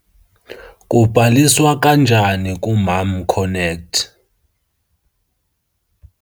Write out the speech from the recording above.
Kubhaliswa kanjani kuMomConnect?